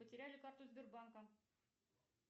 потеряли карту сбербанка